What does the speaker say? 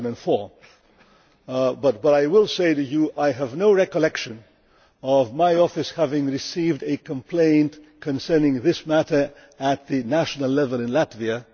2004. I will say to you that I have no recollection of my office having received a complaint concerning this matter at the national level in Latvia.